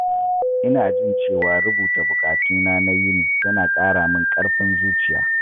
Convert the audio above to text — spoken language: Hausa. Ina jin cewa rubuta buƙatuna na yini yana ƙara mini ƙarfin zuciya.